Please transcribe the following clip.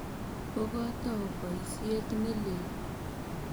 Koko tou poisyet ne lel.